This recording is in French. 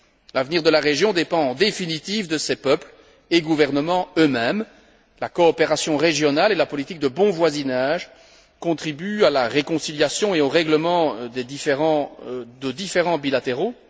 L'avenir de la région dépend, en définitive, de ses peuples et gouvernements eux mêmes. La coopération régionale et la politique de bon voisinage contribuent à la réconciliation et au règlement de différends bilatéraux.